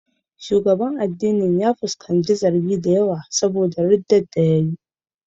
Shugaban addinin ya fuskanci zargi da yawa don ya yi ridda.